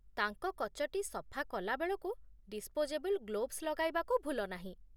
ତାଙ୍କ କଚଟି ସଫା କଲାବେଳକୁ ଡିସ୍ପୋଜେବଲ୍ ଗ୍ଲୋଭ୍ସ ଲଗାଇବାକୁ ଭୁଲନାହିଁ